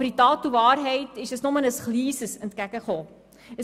Aber in Tat und Wahrheit ist das Entgegenkommen nur sehr klein.